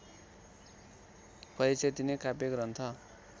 परिचय दिने काव्य ग्रन्थ